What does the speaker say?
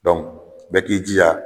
Dɔnku bɛɛ k'i jija.